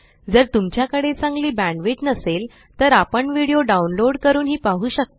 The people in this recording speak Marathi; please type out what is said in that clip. जर तुमच्याकडे चांगली बॅण्डविड्थ नसेल तर आपण व्हिडिओ डाउनलोड करूनही पाहू शकता